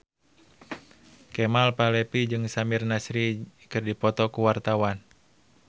Kemal Palevi jeung Samir Nasri keur dipoto ku wartawan